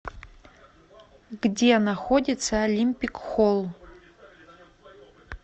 где находится олимпик холл